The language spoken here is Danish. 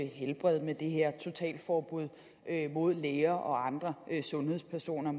helbred med det her totalforbud mod at læger og andre sundhedspersoner